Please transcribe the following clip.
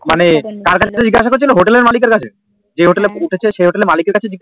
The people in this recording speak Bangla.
মানে কার কাছ থেকে জিগেশ করছিলো হোটেল এর মালিক এর কাছে যে হোটেল এ উঠেছিল সেই হোটেলের মালিকের কাছে